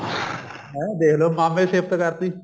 ਹਾਂ ਦੇਖਲੋ ਮਾਮੇ ਸ਼ਿਫਤ ਕਰਤੀ